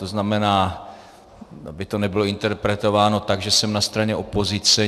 To znamená, aby to nebylo interpretováno tak, že jsem na straně opozice.